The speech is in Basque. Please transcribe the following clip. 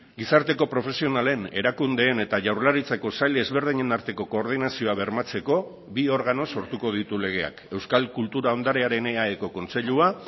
gizarteko profesionalen erakundeen eta jaurlaritzako sail ezberdinen arteko koordinazioa bermatzeko bi organo sortuko ditu legeak euskal kultura ondarearen eaeko kontseilua